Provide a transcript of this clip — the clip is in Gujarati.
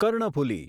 કર્ણફુલી